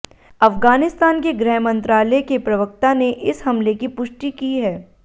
अफ़ग़ानिस्तान के गृहमंत्रालय के प्रवक्ता ने इस हमले की पुष्टि की है